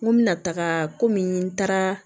N ko n bɛna taga kɔmi n taara